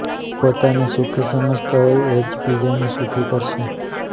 પોતાને સુખી સમજતાં હોય એ જ બીજાને સુખી કરશે